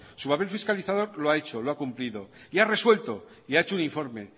su papel fiscalizador lo ha hecho lo ha cumplido y ha resuelto y ha hecho un informe